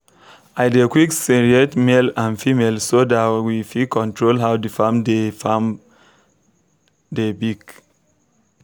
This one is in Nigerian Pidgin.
i dey quick searate male and female so that w fit control how the farm dey the farm dey big